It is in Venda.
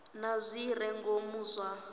na zwi re ngomu zwa